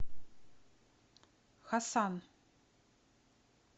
хасан